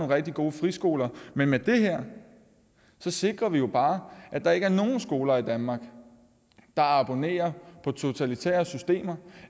rigtig gode friskoler men med det her sikrer vi jo bare at der ikke er nogen skoler i danmark der abonnerer på totalitære systemer